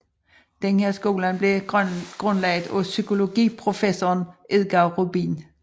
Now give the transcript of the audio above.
Denne skole blev grundlagt af psykologiprofessoren Edgar Rubin